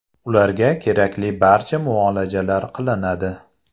Ularga kerakli barcha muolajalar qilinadi.